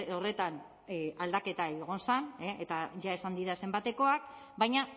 horretan aldaketa egon zen eta ja esan dira zenbatekoak baina